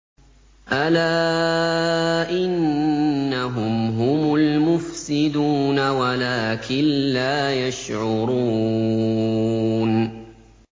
أَلَا إِنَّهُمْ هُمُ الْمُفْسِدُونَ وَلَٰكِن لَّا يَشْعُرُونَ